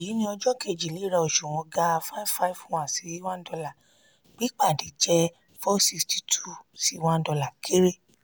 èyí ni ọjọ́ kejì léra òṣùwọ̀n ga five five one si] one dollar pípàdé jẹ four six two sí four six two sí one dollar kéré.